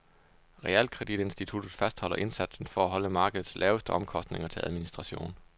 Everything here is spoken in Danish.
Realkreditinstituttet fastholder indsatsen for at holde markedets laveste omkostninger til administration.